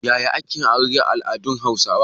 Yaya ake yin aure a al’adun Hausawa?